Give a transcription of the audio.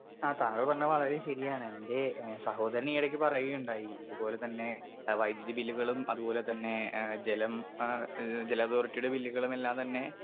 Speaker 2 ആ താങ്കൾ പറഞ്ഞെ വളരെ ശരിയാണ് എന്റെ ഏ സഹോദരനീയിടക്ക് പറയുകയുണ്ടായി ഇത് പോലെത്തന്നെ വൈദുതി ബില്ലുകളും അതുപോലെതന്നെ ഏ ജലം ആ ഏ ജലതോറിട്ടിയുടെ ബില്ലുകളെല്ലാം തന്നെ.